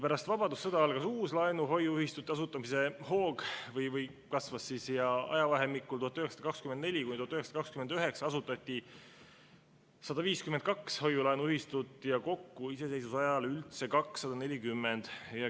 Pärast vabadussõda kasvas uuesti laenu-hoiuühistute asutamise hoog: 1924–1929 asutati 152 hoiu-laenuühistut ja iseseisvuse ajal kokku üldse 240.